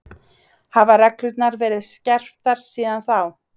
Hafa reglurnar verið skerptar síðan þá?